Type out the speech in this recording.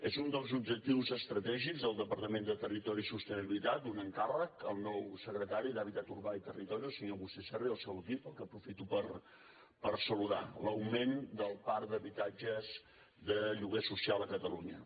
és un dels objectius estratègics del departament de territori i sostenibilitat un encàrrec al nou secretari d’hàbitat urbà i territori el senyor agustí serra i el seu equip al qual aprofito per saludar l’augment del parc d’habitatges de lloguer social a catalunya